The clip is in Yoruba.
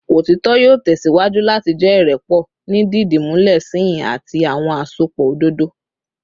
Otitọ yoo tẹsiwaju lati jẹ irẹpọ ni didimulẹ sihin ati awọn asopọ ododo